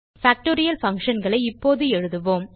factorial functionகளை இப்போது எழுதுவோம்